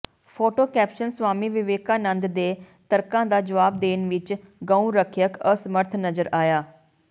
photo caption Swami Vivekananda ਦੇ ਤਰਕਾਂ ਦਾ ਜਵਾਬ ਦੇਣ ਵਿੱਚ ਗਊ ਰੱਖਿਅਕ ਅਸਮਰੱਥ ਨਜ਼ਰ ਆਇਆ